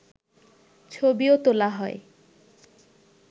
ছবিও তোলা হয়